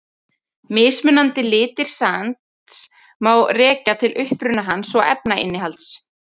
Mismunandi litir sands má rekja til uppruna hans og efnainnihalds.